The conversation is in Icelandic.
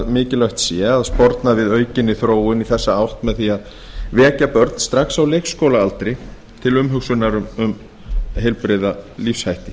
mikilvægt sé að sporna við aukinni þróun í þessa átt með því að vekja börn strax á leikskólaaldri til umhugsunar um heilbrigða lífshætti